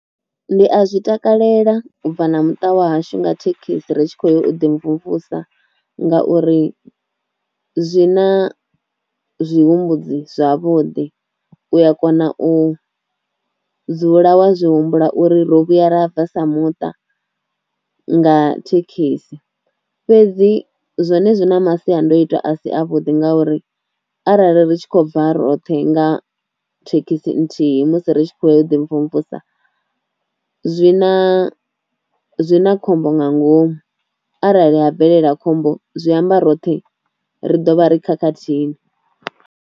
Ndi a zwi takalela u bva na muṱa wa hashu nga thekhisi ri tshi khou ya u ḓi mvumvusa ngauri zwi na zwihumbudzi zwavhuḓi, u a kona u dzula wa zwi humbula uri ro vhuya ra bva sa muṱa nga thekhisi, fhedzi zwone zwi na masiandoitwa a si a vhuḓi ngauri arali ri tshi khou bva roṱhe nga thekhisi nthihi musi ri tshi khou ya u ḓi mvumvusa zwi na zwi na khombo nga ngomu arali a bvelela khombo zwi amba roṱhe ri do vha ri khakhathini.